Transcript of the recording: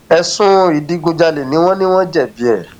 ẹsùn ìdígunjalè ni wọn ní wọn jẹbi ẹ